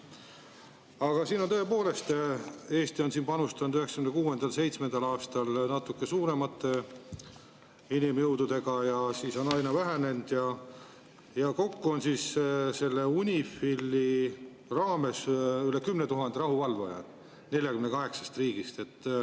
Aga tõepoolest, Eesti panustas 1996. ja 1997. aastal natuke suuremate inimjõududega, siis on need aina vähenenud ja kokku on UNIFIL-i raames üle 10 000 rahuvalvaja 48 riigist.